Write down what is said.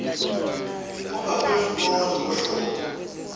ongaphezulu kowodwa wohlobo